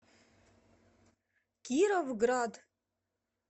кировград